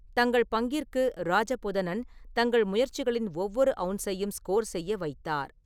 தங்கள் பங்கிற்கு, ராஜபுதனன் தங்கள் முயற்சிகளின் ஒவ்வொரு அவுன்ஸையும் ஸ்கோர் செய்ய வைத்தார்.